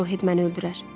Arouhed məni öldürər.